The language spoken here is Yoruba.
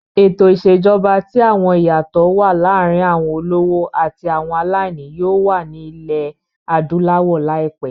Ètò ìṣèjọba tí àwọn iyato wà lára àwọn olówó àti àwọn aláìní yóò wà ní ilẹ̀ adúláwọ̀ láìpẹ́.